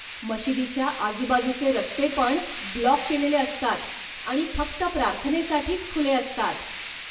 मशिदीच्या आजुबाजुचे रस्तेपण ब्लॉक केलेले असतात आणि फक्त प्रार्थनेसाठीच खुले असतात.